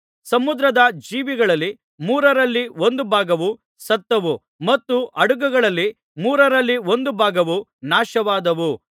ಸಮುದ್ರದ ಜೀವಿಗಳಲ್ಲಿ ಮೂರರಲ್ಲಿ ಒಂದು ಭಾಗವು ಸತ್ತವು ಮತ್ತು ಹಡಗುಗಳಲ್ಲಿ ಮೂರರಲ್ಲಿ ಒಂದು ಭಾಗವು ನಾಶವಾದವು